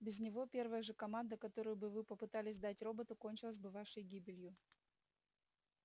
без него первая же команда которую бы вы попытались дать роботу кончилась бы вашей гибелью